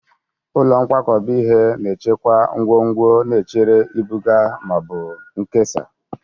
Ụlọ nkwakọba ihe na-echekwa ngwongwo na-echere ibuga ma ọ bụ nkesa.